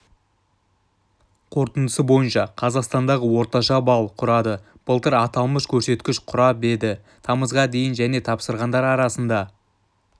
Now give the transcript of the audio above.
қорытындысы бойынша қазақстандағы орташа балл құрады былтыр аталмыш көрсеткіш құрап еді тамызға дейін және тапсырғандар арасында